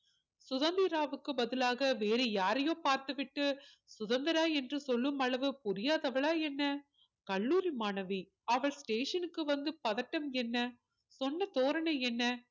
சுதந்திராவுக்கு பதிலாக வேற யாரயோ பார்த்து விட்டு சுதந்திரா என்று சொல்லும் அளவு புரியாதவளா என்ன கல்லூரி மாணவி அவள் station க்கு வந்து பதட்டம் என்ன சொன்ன தோரனை என்ன